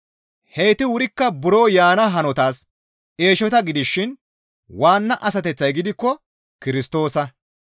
Heyti wurikka buro yaana hanotas eeshota gidishin waanna asateththay gidikko Kirstoosa.